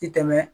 Ti tɛmɛ